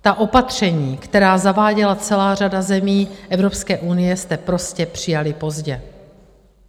Ta opatření, která zaváděla celá řada zemí Evropské unie, jste prostě přijali pozdě.